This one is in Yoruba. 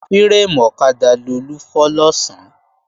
Fírémù ọ̀kadà Lolú fọ́ lọ̀sán